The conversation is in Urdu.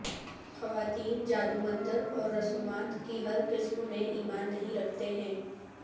خواتین جادو منتر اور رسومات کی ہر قسم میں ایمان نہیں رکھتے ہیں